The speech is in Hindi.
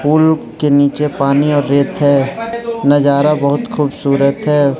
पुल के नीचे पानी और रेत है नजारा बहुत खूबसूरत है।